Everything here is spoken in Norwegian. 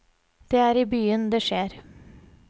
Det er i byen det skjer.